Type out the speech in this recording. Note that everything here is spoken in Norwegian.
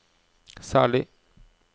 særlig